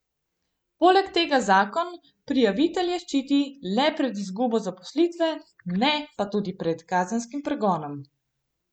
Poleg tega zakon prijavitelje ščiti le pred izgubo zaposlitve, ne pa tudi pred kazenskim pregonom.